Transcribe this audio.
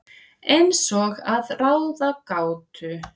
Eins og að ráða gátu.